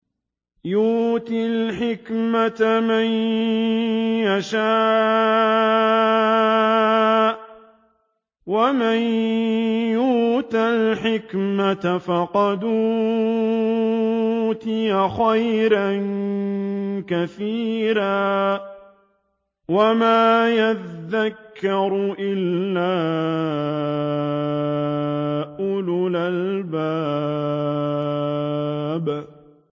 يُؤْتِي الْحِكْمَةَ مَن يَشَاءُ ۚ وَمَن يُؤْتَ الْحِكْمَةَ فَقَدْ أُوتِيَ خَيْرًا كَثِيرًا ۗ وَمَا يَذَّكَّرُ إِلَّا أُولُو الْأَلْبَابِ